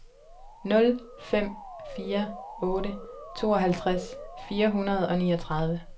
nul fem fire otte tooghalvtreds fire hundrede og niogtredive